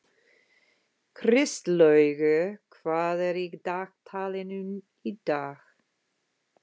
Kristlaugur, hvað er í dagatalinu í dag?